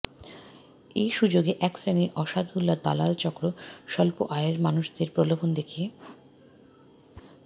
এ সুযোগে এক শ্রেণির অসাধু দালাল চক্র স্বল্প আয়ের মানুষদের প্রলোভন দেখিয়ে